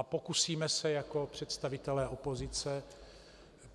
A pokusíme se jako představitelé opozice